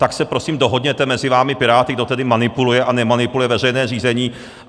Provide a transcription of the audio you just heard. Tak se, prosím, dohodněte mezi vámi Piráty, kdo tedy manipuluje a nemanipuluje veřejné řízení.